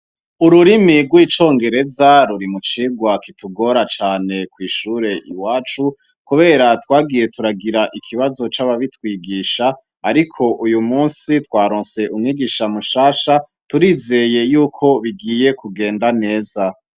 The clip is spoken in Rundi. Ururimi rw'icongereza ruri mucigwa kitugora cane kwishure iwacu kubera twagiye turagira ikibazo c'ababitwigisha ariko uyumusi twaronse umwigisha mushasha turizeye yuko bigiye kugenda neza.